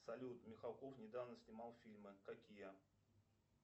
салют михалков недавно снимал фильмы какие